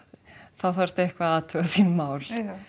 þá þarftu eitthvað að athuga þín mál